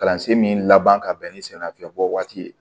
Kalansen min laban ka bɛn ni samiyafiyɛn bɔ waati ye